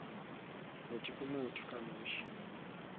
motho ke motho ka nosi